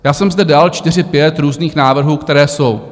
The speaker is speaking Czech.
Já jsem zde dal čtyři, pět různých návrhů, které jsou.